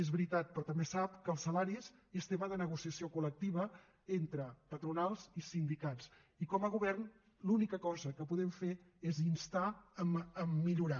és veritat però també sap que els salaris és tema de negociació col·lectiva entre patronals i sindicats i com a govern l’única cosa que podem fer és instar a millorar